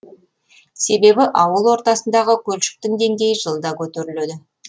себебі ауыл ортасындағы көлшіктің деңгейі жылда көтеріледі